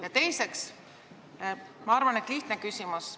Ja teiseks üks lihtne küsimus.